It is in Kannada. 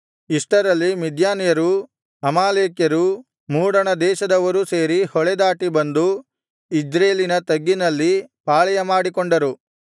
ಇಷ್ಟರಲ್ಲಿ ಮಿದ್ಯಾನ್ಯರೂ ಅಮಾಲೇಕ್ಯರೂ ಮೂಡಣದೇಶದವರೂ ಸೇರಿ ಹೊಳೆದಾಟಿ ಬಂದು ಇಜ್ರೇಲಿನ ತಗ್ಗಿನಲ್ಲಿ ಪಾಳೆಯಮಾಡಿಕೊಂಡರು